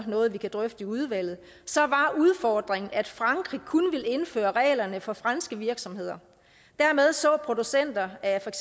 noget vi kan drøfte i udvalget så var udfordringen at frankrig kun ville indføre reglerne for franske virksomheder og dermed så producenter af